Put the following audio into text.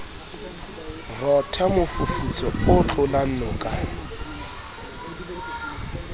rotha mofufutso o tlalang noka